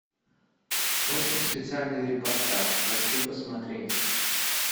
очень специальный репортаж хочу посмотреть